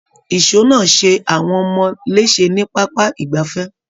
Ìṣọ́ náà ṣe àwọn ọmọ léṣe ní pápá ìgbafẹ́.